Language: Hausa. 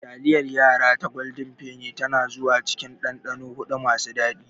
Taliyar yara ta golden Penny tana zuwa cikin dandano huɗu masu daɗi.